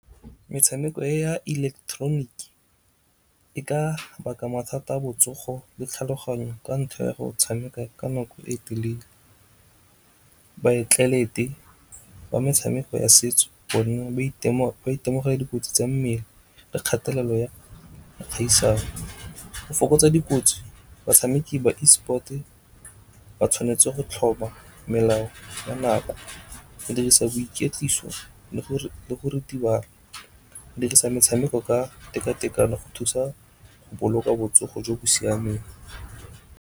Metshameko ya electronic e ka baka mathata a botsogo le tlhaloganyo ka ntlha ya go tshameka ka nako e telele. Baatlelete ba metshameko ya setso bona ba itemogela dikotsi tsa mmele le kgatelelo ya kgaisano. Go fokotsa dikotsi batshameki ba e-sport ba tshwanetse go tlhoma melao ya nako. Go dirisa boiketliso le go ritibala, dirisa metshameko ka tekatekano go thusa go boloka botsogo jo bo siameng.